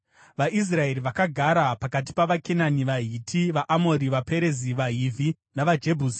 VaIsraeri vakagara pakati pavaKenani, vaHiti, vaAmori, vaPerezi, vaHivhi navaJebhusi.